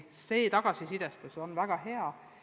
Tagasiside on olnud väga hea.